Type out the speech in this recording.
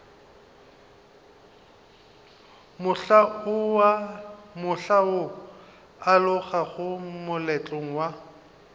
mohla o alogago moletlong wa